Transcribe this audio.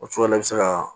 O cogo la i bɛ se ka